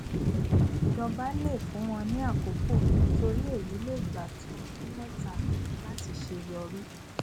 ìjọba le fún wọn ní àkókò nítorí èyí lè gbà tó ọdún mẹta láti ṣe yọrí